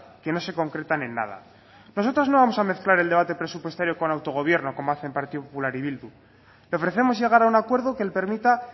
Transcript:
que no se concretan en nada nosotros no vamos a mezclar el debate presupuestario con autogobierno como hacen partido popular y bildu le ofrecemos llegar a un acuerdo que permita